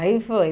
Aí foi.